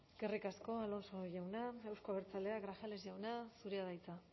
eskerrik asko alonso jauna euzko abertzaleak grajales jauna zurea da hitza